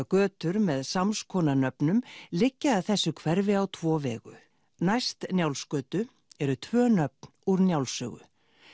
götur með samskonar nöfnum liggja að þessu hverfi á tvo vegu næst Njálsgötu eru tvö nöfn úr Njálssögu